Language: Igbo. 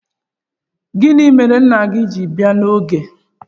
Gini mere nna gi ji bia n'oge?